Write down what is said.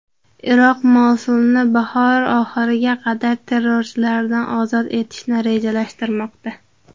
Iroq Mosulni bahor oxiriga qadar terrorchilardan ozod etishni rejalashtirmoqda.